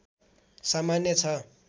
सामान्य छ